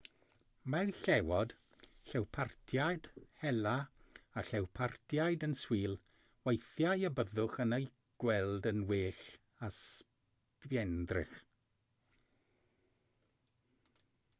mae llewod llewpartiaid hela a llewpartiaid yn swil weithiau a byddwch yn eu gweld yn well â sbienddrych